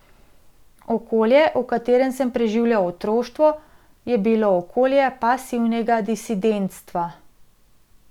Okolje, v katerem sem preživljal otroštvo, je bilo okolje pasivnega disidentstva.